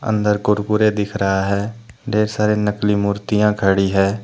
अंदर कुरकुरे दिख रहा है ढेर सारे नकली मूर्तियां खड़ी है।